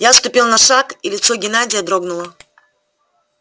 я отступил на шаг и лицо геннадия дрогнуло